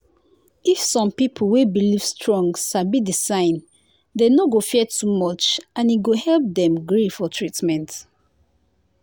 if some people wey believe strong sabi the signs dem no go fear too much and e go help dem gree for treatment.